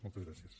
moltes gràcies